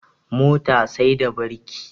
Mota sai da birki